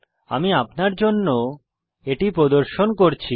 আমি আপনার জন্য এটি প্রদর্শন করছি